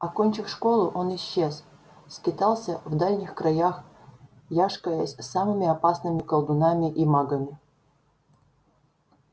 окончив школу он исчез скитался в дальних краях яшкаясь с самыми опасными колдунами и магами